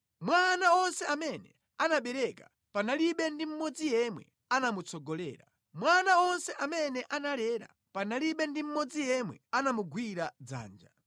Mwa ana onse amene anabereka, panalibe ndi mmodzi yemwe anamutsogolera; mwa ana onse amene analera, panalibe ndi mmodzi yemwe anamugwira dzanja.